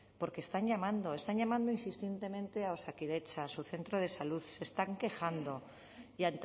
porque están llamando están llamando insistentemente a osakidetza a su centro de salud se están quejando y